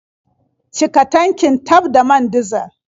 Cika tankin taf da man dizal.